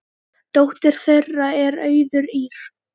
Dóttir þeirra er Auður Ýrr.